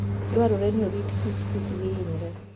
Dwarore ni orit kich kik hinyre.